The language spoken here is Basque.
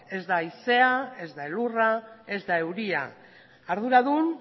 ez da haizea ez da elurra ez da euria arduradun